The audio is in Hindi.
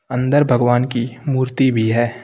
अंदर भगवान की मूर्ति भी है।